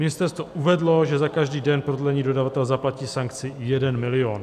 Ministerstvo uvedlo, že za každý den prodlení dodavatel zaplatí sankci 1 milion.